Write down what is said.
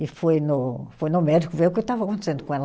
E foi no, foi no médico ver o que estava acontecendo com ela.